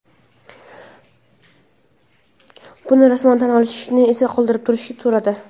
Buni rasman tan olishni esa qoldirib turishni so‘radi.